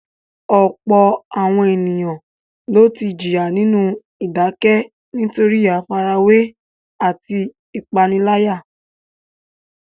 Ọ̀pọ̀lọpọ̀ àwọn ènìyàn ló ti jìyà nínú ìdákẹ́ nítorí àfarawé àti ìpániláyà.